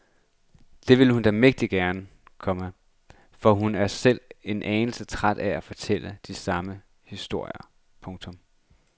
Det vil hun da mægtig gerne, komma for hun er selv en anelse træt af at fortælle de samme historier. punktum